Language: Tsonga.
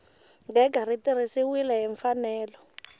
gega ri tirhisiwile hi mfanelo